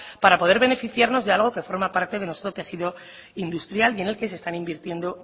para poder beneficiarnos de algo que forma parte de nuestro tejido industrial y en el que se están invirtiendo